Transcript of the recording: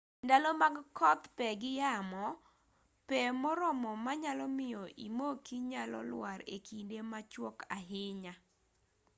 ndalo mag kodh pe gi yamo pe moromo manyalo miyo imoki nyalo lwar e kinde machuok ahinya